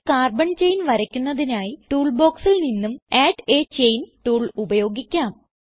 ഒരു carbon chain വരയ്ക്കുന്നതിനായി tool ബോക്സിൽ നിന്നും അഡ് a ചെയിൻ ടൂൾ ഉപയോഗിക്കാം